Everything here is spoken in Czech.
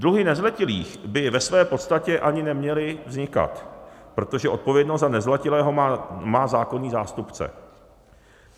Dluhy nezletilých by ve své podstatě ani neměly vznikat, protože odpovědnost za nezletilého má zákonný zástupce.